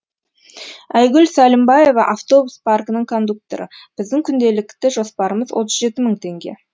айгүл сәлімбаева автобус паркінің кондукторы біздің күнделікті жоспарымыз отыз жеті мың теңге